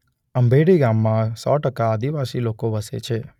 અંભેઠી ગામમાં સો ટકા આદિવાસી લોકો વસે છે.